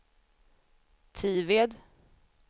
Tived